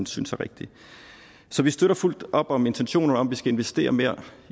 synes er rigtig så vi støtter fuldt op om intentionerne om at vi skal investere mere